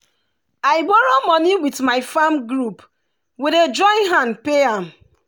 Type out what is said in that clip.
i borrow money with my farm group we dey join hand pay am